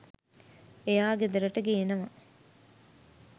එයා ගෙදරට ගේනවා